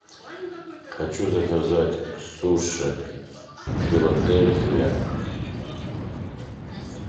хочу заказать суши филадельфия